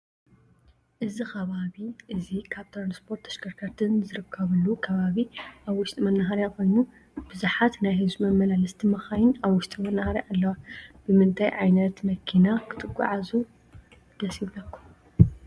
እዚ ከባቢ እዚ ካብ ትራንስፖርት ተሽከርከርትን ዝርከብሉ ከባቢ ኣብ ውሽቲ መናሃርያ ኮይኑ ብዝሓት ናይ ህዝቢ መመላለስቲ መካይን ኣብ ውሽጢ መናሃርያ ኣለዋ። ብምታይ ዓይነት መኪና ክትጉዓዙ ሰድ ይብለኩም?